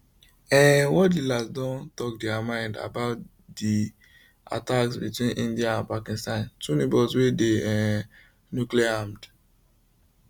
um world leaders don tok dia mind about di attacks between india and pakistan two neigbours wey dey um nucleararmed